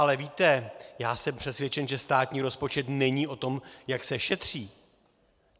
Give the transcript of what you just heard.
Ale víte, já jsem přesvědčen, že státní rozpočet není o tom, jak se šetří.